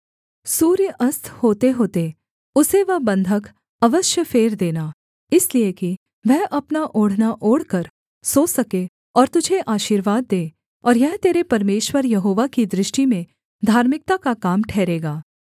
सूर्य अस्त होतेहोते उसे वह बन्धक अवश्य फेर देना इसलिए कि वह अपना ओढ़ना ओढ़कर सो सके और तुझे आशीर्वाद दे और यह तेरे परमेश्वर यहोवा की दृष्टि में धार्मिकता का काम ठहरेगा